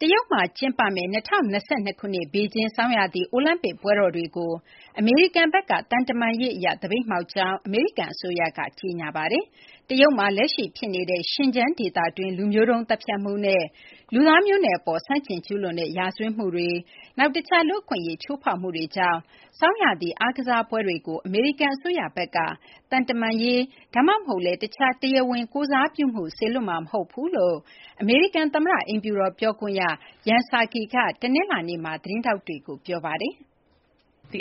တရုတ်မှာကျင်းပမယ့် ၂၀၂၂ ဘေဂျင်း ဆောင်းရာသီအိုလံပစ် ပွဲတော်တွေကို အမေရိကန်က သံတမန်ရေးအရ သပိတ်မှောက်ကြောင်း အမေရိကန်အစိုးရက ကြေညာလိုက်ပါတယ်။ တရုတ်မှာ လက်ရှိဖြစ်နေတဲ့ Xinjiang ဒေသတွင်း လူမျိုးတုံးသတ်ဖြတ်မှုနဲ့ လူသားမျိုးနွယ်အပေါ် ဆန့်ကျင် ကျူးလွန်တဲ့ ရာဇဝတ်မှုတွေ၊ နောက် တခြား လူ့အခွင့်အရေး ချိုးဖောက်မှုတွေကြောင့် ဆောင်းရာသီ အားကစားပွဲတွေကို အမေရိကန် အစိုးရဘက်က သံတမန်ရေး ဒါမှမဟုတ်လည်း တခြား တရားဝင် ကိုယ်စားပြုမှု စေလွှတ်မှာ မဟုတ်ကြောင်း အမေရိကန် သမ္မတအိမ်ဖြူတော် ပြောခွင့်ရ Jen Psaki က တနင်္လာနေ့မှာ သတင်းထောက်တွေကို ပြောပါတယ်။ အ